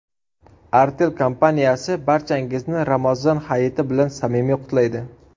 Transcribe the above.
Artel kompaniyasi barchangizni Ramazon hayiti bilan samimiy qutlaydi.